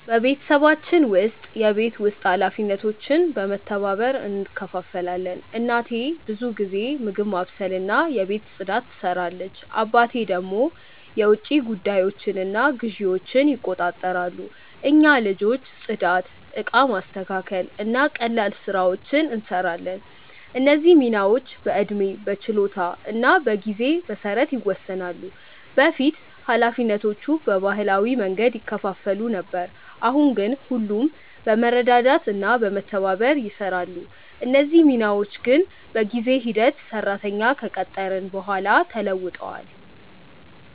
በቤተሰባችን ውስጥ የቤት ውስጥ ኃላፊነቶች በመተባበር እንከፋፈላለን። እናቴ ብዙ ጊዜ ምግብ ማብሰልና የቤት ፅዳት ትሰራለች፣ አባቴ ደግሞ የውጭ ጉዳዮችንና ግዢዎችን ይቆጣጠራሉ። እኛ ልጆች ጽዳት፣ እቃ ማስተካከል እና ቀላል ስራዎችን እንሰራለን። እነዚህ ሚናዎች በዕድሜ፣ በችሎታ እና በጊዜ መሰረት ይወሰናሉ። በፊት ኃላፊነቶቹ በባህላዊ መንገድ ይከፋፈሉ ነበር፣ አሁን ግን ሁሉም በመረዳዳት እና በመተባበር ይሰራሉ። እነዚህ ሚናዎች ግን በጊዜ ሂደት ሰራተኛ ከቀጠርን በኋላ ተለውጧል።